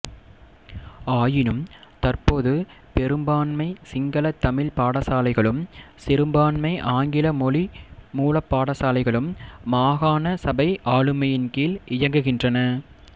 ஆயினும் தற்போது பெரும்பான்மை சிங்கள தமிழ்ப் பாடசாலைகளும் சிறுபான்மை ஆங்கில மொழிமூலப் பாடசாலைகளும் மாகாண சபை ஆளுமையின் கீழ் இயங்குகின்றன